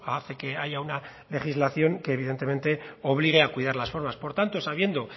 hace que haya una legislación que evidentemente obligue a cuidar las formas por tanto sabiendo